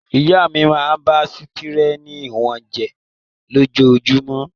Ìyá mi máa ń bá sítẹ́rínì wọn jẹ lójoojúmọ́.